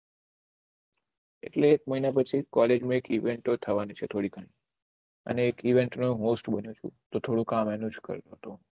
એટલે એક મહિના પછી કોલેજમાં એક ઇવેન્ટ થવાની છે થોડીક અને એક ઇવેન્ટ નું કામ કરતો તો